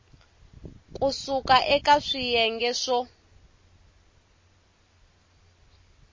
ku suka eka swiyenge swo